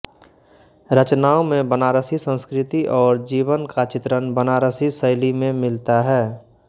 रचनाओं में बनारसी संस्कृति और जीवन का चित्रण बनारसी शैली में मिलता है